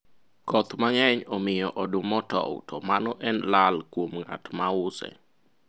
koth mang'eny omiyo oduma otow to mano en lal kuom ng'at ma use